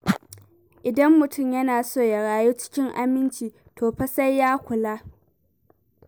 Idan mutum yana so ya rayu cikin aminci, to fa sai ya kula.